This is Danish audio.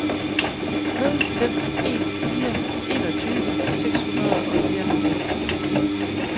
nul fem en fire enogtyve seks hundrede og fireoghalvfems